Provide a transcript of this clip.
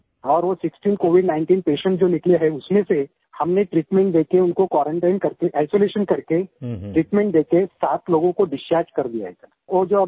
और वो जो 16 सिक्सटीन COVID19 पॉजिटिव पेशेंट्स जो निकले हैं उसमे से हमने ट्रीटमेंट देके उनको क्वारंटाइन करके आइसोलेशन करके ट्रीटमेंट देके 7 लोगों को डिसचार्ज कर दिया है सिर